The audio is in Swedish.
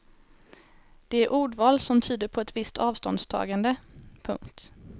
Det är ordval som tyder på ett visst avståndstagande. punkt